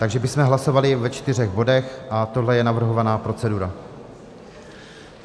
Takže bychom hlasovali ve čtyřech bodech a tohle je navrhovaná procedura.